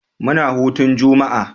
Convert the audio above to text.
Muna hutun jama'a.